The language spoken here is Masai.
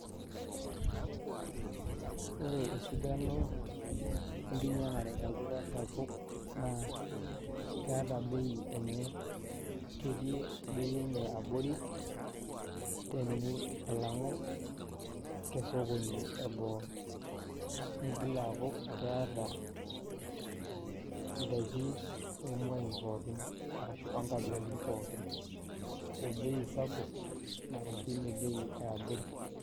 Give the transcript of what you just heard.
Ore esidano, enkinyang'are tolduka sapuk, naa keeta bei enye. Ketii bei enye abori, teni alang'u tesokoni eboo. Nigil aaku, keeta idaiki omuai pookin. Arashu onkabilaritin pookin, obei sapuk, arashu enebei eabori.